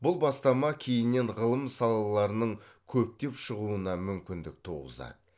бұл бастама кейіннен ғылым салаларының көптеп шығуына мүмкіндік туғызады